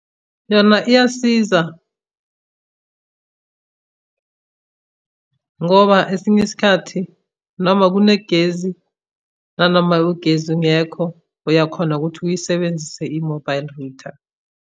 Yona iyasiza ngoba esinye isikhathi noma kunegezi, nanoma ugezi ungekho, uyakhona ukuthi uyisebenzise i-mobile router.